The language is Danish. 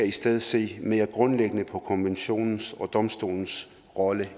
i stedet se mere grundlæggende på konventionens og domstolens rolle